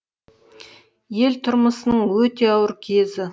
ел тұрмысының өте ауыр кезі